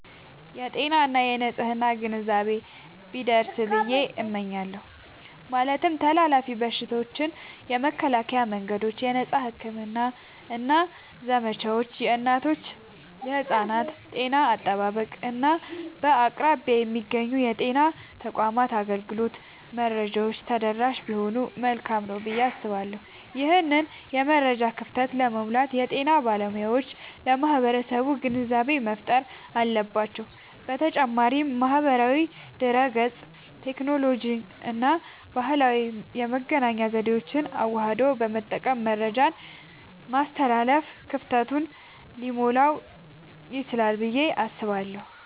የጤና እና የንፅህና ግንዛቤ ቢደርስ ብየ እመኛለሁ። ማለትም ተላላፊ በሽታዎችን የመከላከያ መንገዶች፣ የነፃ ሕክምና ዘመቻዎች፣ የእናቶችና የሕፃናት ጤና አጠባበቅ፣ እና በአቅራቢያ የሚገኙ የጤና ተቋማት አገልግሎት መረጃዎች ተደራሽ ቢሆኑ መልካም ነዉ ብየ አስባለሁ። ይህንን የመረጃ ክፍተት ለመሙላት የጤና ባለሙያዎች ለማህበረሰቡ ግንዛቤ መፍጠር አለባቸዉ። በተጨማሪም ማህበራዊ ድህረገጽን፣ ቴክኖሎጂንና ባህላዊ የመገናኛ ዘዴዎችን አዋህዶ በመጠቀም መረጃን ማስተላለፍ ክፍተቱን ሊሞላዉ ይችላል ብየ አስባለሁ።